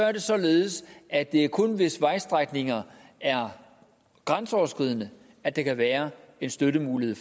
er det således at det er kun hvis vejstrækninger er grænseoverskridende at der kan være en støttemulighed